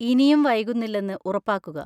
ഇനിയും വൈകുന്നില്ലെന്ന് ഉറപ്പാക്കുക.